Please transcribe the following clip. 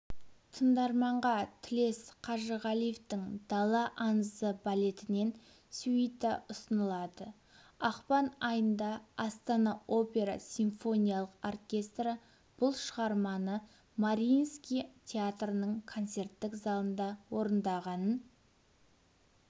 тыңдарманға тілес қажығалиевтің дала аңызы балетінен сюита ұсынылады ақпан айында астана опера симфониялық оркестрі бұл шығарманы мариинский театрының концерттік залында орындағанын